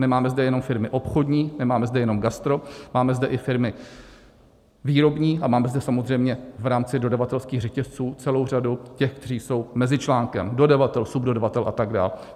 Nemáme zde jenom firmy obchodní, nemáme zde jenom gastro, máme zde i firmy výrobní a máme zde samozřejmě v rámci dodavatelských řetězců celou řadu těch, kteří jsou mezičlánkem - dodavatel, subdodavatel atd.